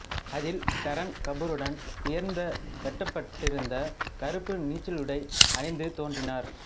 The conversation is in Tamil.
அதில் கரன் கபூருடன் உயர்ந்துவெட்டப்பட்டிருந்த கருப்பு நீச்சலுடை அணிந்து தோன்றினார்